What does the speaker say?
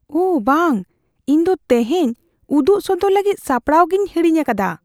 ᱳᱦ ᱵᱟᱝ! ᱤᱧ ᱫᱚ ᱛᱮᱦᱮᱧ ᱩᱫᱩᱜ ᱥᱚᱫᱚᱨ ᱞᱟᱹᱜᱤᱫ ᱥᱟᱯᱲᱟᱜᱤᱧ ᱦᱟᱹᱲᱤᱧ ᱟᱠᱟᱫᱟ ᱾